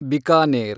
Bikaner